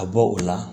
Ka bɔ o la